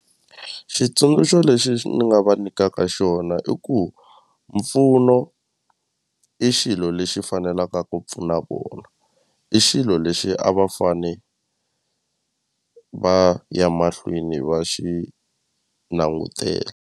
Xitsundzuxo lexi ni nga va nikaka xona i ku mpfuno i xilo lexi fanelaka ku pfuna vona i xilo lexi a va fane va ya mahlweni va xi langutela.